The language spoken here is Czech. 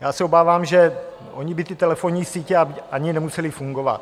Já se obávám, že ony by ty telefonní sítě ani nemusely fungovat.